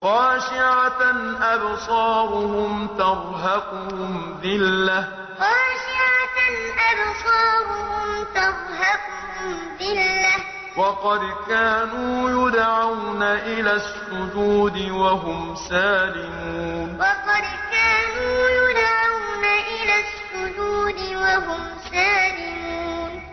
خَاشِعَةً أَبْصَارُهُمْ تَرْهَقُهُمْ ذِلَّةٌ ۖ وَقَدْ كَانُوا يُدْعَوْنَ إِلَى السُّجُودِ وَهُمْ سَالِمُونَ خَاشِعَةً أَبْصَارُهُمْ تَرْهَقُهُمْ ذِلَّةٌ ۖ وَقَدْ كَانُوا يُدْعَوْنَ إِلَى السُّجُودِ وَهُمْ سَالِمُونَ